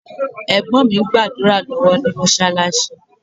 Ẹ̀gbọ́n mi ń gbàdúrà lọ́wọ́ ní Mọ́ṣáláṣí